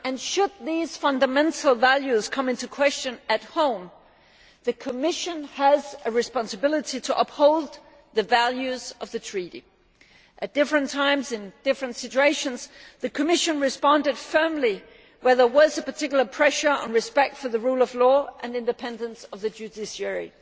Should these fundamental values come into question at home, the Commission has a responsibility to uphold the values of the Treaty. At different times and in different situations the Commission has responded firmly where there was particular pressure put on respect for the rule of law and the independence of the judiciary.